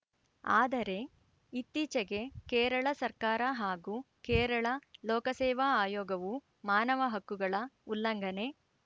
ಆದರೆ ಇತ್ತೀಚೆಗೆ ಕೇರಳ ಸರ್ಕಾರ ಹಾಗೂ ಕೇರಳ ಲೋಕಸೇವಾ ಆಯೋಗವು ಮಾನವ ಹಕ್ಕುಗಳ ಉಲ್ಲಂಘನೆ